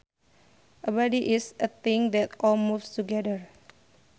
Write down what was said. A body is a thing that all moves together